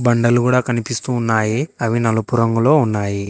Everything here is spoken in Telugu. బండలు కూడా కనిపిస్తూ ఉన్నాయి అవి నలుపు రంగులో ఉన్నాయి.